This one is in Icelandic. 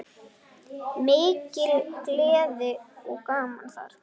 Mikil gleði og gaman þar.